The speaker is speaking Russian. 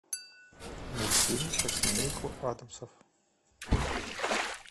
мультфильм про семейку адамсов